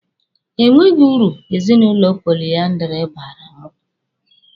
Enweghị uru ezinụlọ poliandiri baara mụ.